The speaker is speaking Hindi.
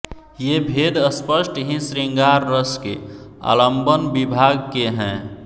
ये भेद स्पष्ट ही शृंगार रस के आलंबन विभाव के हैं